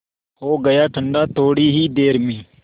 हो गया ठंडा थोडी ही देर में